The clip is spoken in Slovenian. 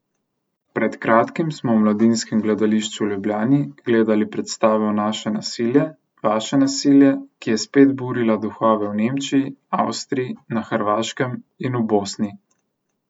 Pred kratkim smo v Mladinskem gledališču v Ljubljani gledali predstavo Naše nasilje, vaše nasilje, ki je spet burila duhove v Nemčiji, Avstriji, na Hrvaškem in v Bosni.